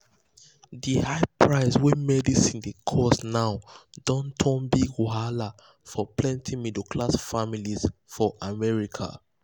the high price wey medicine dey cost now don turn big wahala for plenty middle class families for america.